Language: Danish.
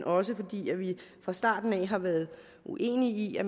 også fordi vi fra starten har været uenige i at